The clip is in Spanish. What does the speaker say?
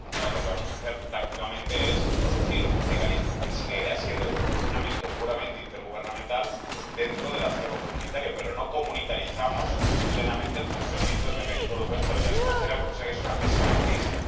Lo que vamos a hacer prácticamente es introducir un mecanismo, que seguirá siendo en su funcionamiento puramente intergubernamental, dentro del acervo comunitario, pero no comunitarizamos plenamente el funcionamiento del Mecanismo Europeo de Estabilidad, lo que es una pésima noticia.